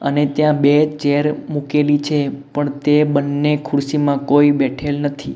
અને ત્યાં બે ચેર મૂકેલી છે પણ તે બન્ને ખુરસીમાં કોઈ બેઠેલ નથી.